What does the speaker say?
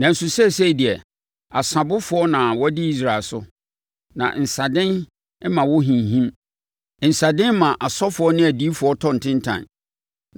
Nanso seesei deɛ, asabofoɔ na wɔdi Israel so, na nsaden ma wɔhinhim; nsaden ma asɔfoɔ ne adiyifoɔ tɔ ntentan